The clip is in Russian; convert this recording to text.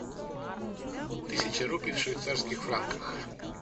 тысяча рупий в швейцарских франках